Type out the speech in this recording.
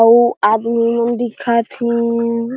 अउआदमीमन दिखथीन।